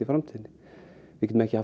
framtíðinni við getum ekki